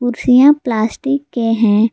कुर्सियां प्लास्टिक के हैं।